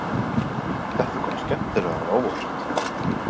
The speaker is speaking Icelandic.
Þetta kom skemmtilega á óvart